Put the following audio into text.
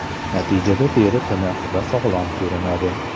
Natijada teri tiniq va sog‘lom ko‘rinadi.